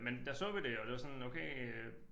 Men der så vi det og det var sådan okay øh